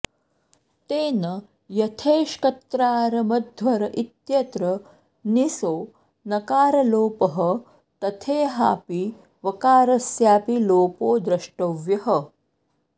तेन यथेष्कत्र्तारमध्वर इत्यत्र निसो नकारलोपः तथेहापि वकारस्यापि लोपो द्रष्टव्यः